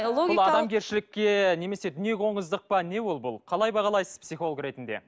адамгершілікке немесе дүниеқоңыздық па не ол бұл қалай бағалайсыз психолог ретінде